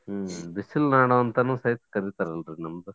ಹ್ಮ್ ಬಿಸಲ್ ನಾಡು ಅಂತಾನೂ ಸಹಿತ ಕರೀತಾರಲ್ರಿ ನಮ್ದು.